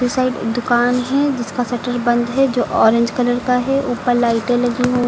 Side दुकान है जिसका शटर बंद है जो ऑरेंज कलर का है। ऊपर लाइटें लगी हु --